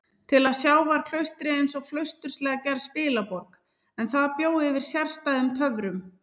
Til að sjá var klaustrið einsog flausturslega gerð spilaborg, en það bjó yfir sérstæðum töfrum.